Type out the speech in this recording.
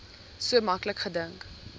so maklik gedink